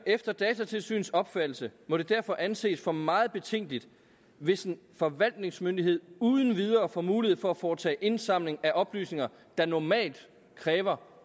efter datatilsynets opfattelse må det derfor anses for meget betænkeligt hvis en forvaltningsmyndighed uden videre får mulighed for at foretage indsamling af oplysninger der normalt kræver